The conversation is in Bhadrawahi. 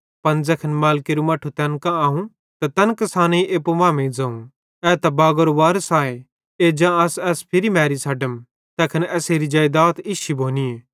पन ज़ैखन मालिकेरू मट्ठू तैन कां आव त तैन किसानेईं एप्पू मांमेइं ज़ोवं ए त एस बागारो वारिस आए एज्जा अस एस भी मैरी छ़ड्डम तैखन एसेरी जेइदात इश्शी भोनी